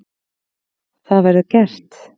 Það verður gert.